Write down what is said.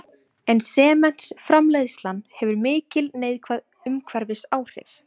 En sementsframleiðslan hefur mikil neikvæð umhverfisáhrif.